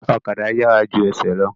Ọ̀kadà yàrá ju ẹsẹ̀ lọ